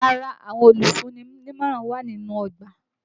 Yàrá àwọn olùfúnni nímọ̀ràn wà nínú ọgbà.